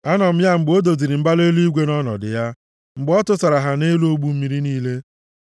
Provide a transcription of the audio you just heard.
Anọ m ya mgbe o doziri mbara eluigwe nʼọnọdụ ya, mgbe ọ tụsara ha nʼelu ogbu mmiri niile;